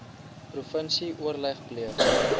provinsie oorleg pleeg